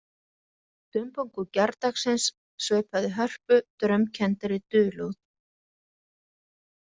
Dumbungur gærdagsins sveipaði Hörpu draumkenndri dulúð